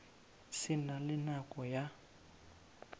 se na le nako ya